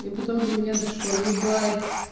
и потом до меня дошло ебать